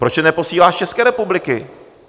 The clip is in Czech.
Proč je neposílá z České republiky?